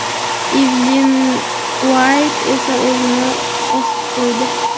Ivlin Uayt esa o‘zini osib qo‘ydi.